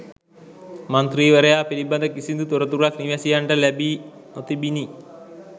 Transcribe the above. මන්ත්‍රීවරයා පිළිබඳ කිසිදු තොරතුරක්‌ නිවැසියන්ට ලැබී නොතිබිණි